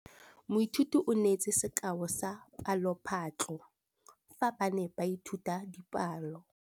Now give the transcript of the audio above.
Moithuti o neetse sekaô sa palophatlo fa ba ne ba ithuta dipalo.